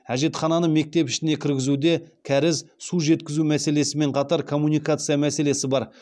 әжетхананы мектеп ішіне кіргізуде кәріз су жеткізу мәселесімен қатар коммуникация мәселесі бар